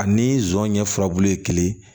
Ani zon ɲɛ fila bulu ye kelen